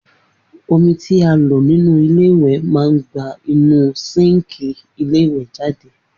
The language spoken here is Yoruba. Omi tí a lò nínú ilé ìwè má gba inúu síńkì ilé ìwè jáde